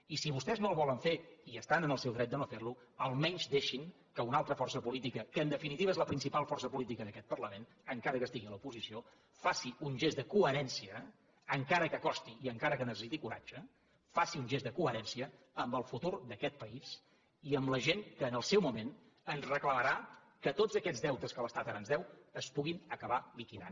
i si vostès no el volen fer i estan en el seu dret de no fer lo almenys deixin que una altra força política que en definitiva és la principal força política d’aquest parlament encara que estigui a l’oposició faci un gest de coherència encara que costi i encara que necessiti coratge faci un gest de coherència amb el futur d’aquest país i amb la gent que en el seu moment ens reclamarà que tots aquests deutes que l’estat ara ens deu es puguin acabar liquidant